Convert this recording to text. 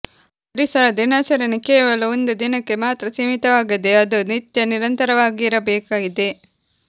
ಪರಿಸರ ದಿನಾಚರಣೆ ಕೇವಲ ಒಂದು ದಿನಕ್ಕೆ ಮಾತ್ರ ಸೀಮಿತವಾಗದೇ ಅದು ನಿತ್ಯ ನಿರಂತರವಾಗಿರವಾಗಬೇಕಿದೆ